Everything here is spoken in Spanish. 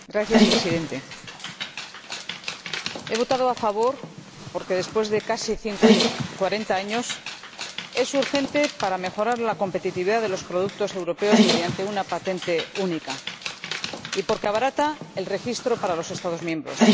Señor Presidente, he votado a favor porque después de casi 40 años es urgente mejorar la competitividad de los productos europeos mediante una patente única y porque se abarata el registro para los Estados miembros.